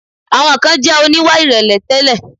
Àwọn kan jẹ̀ oníwà ìrẹ̀lẹ̀ tẹ́lẹ̀.